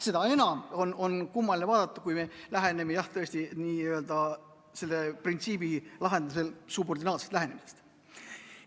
Seda enam on kummaline vaadata, kui me lähtume jah, tõesti, nii-öelda selle printsiibi lahendusel subordinaarsest lähenemisest.